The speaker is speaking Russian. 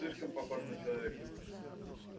он слишком похож на человека